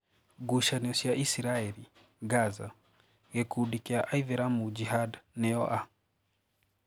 Ngucanio cia Israeli, Gaza:Gikundi kia aithiramu Jihad nio a?